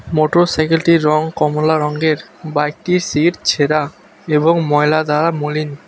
মোটোরসাইকেলটির রং কমলা রঙ্গের বাইকটির সিট ছেড়া এবং ময়লা দ্বারা মলিন।